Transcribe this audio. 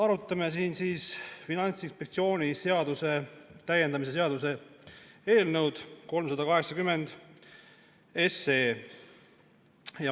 Arutame siin Finantsinspektsiooni seaduse täiendamise seaduse eelnõu 380.